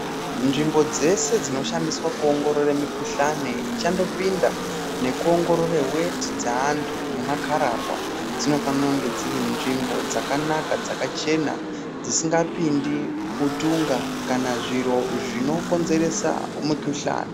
Nzvimbo dzese dzinoshandiswa kuongorore mikuhlani ichangopinda nekuongorore weti dzeantu nemakararwa dzinofanire kunge dziri nzvimbo dzakanaka dzakachena dzisingapindi utunga kana zviro zvinokonzeresa mikuhlani.